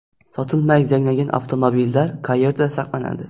Sotilmay zanglagan avtomobillar qayerda saqlanadi?